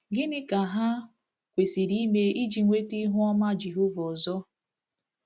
Gịnị ka ha kwesịrị ime iji nweta ihu ọma Jehova ọzọ?